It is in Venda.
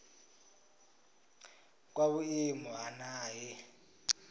kwa vhuimo ha nha he